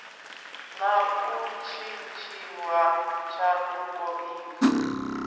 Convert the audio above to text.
na u tshintshiwa tshanduko idzo